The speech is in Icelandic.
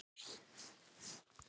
Álfur út úr hól.